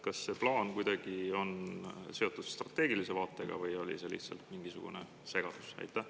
Kas see plaan on kuidagi seotud strateegilise vaatega või oli see lihtsalt mingisugune segadus?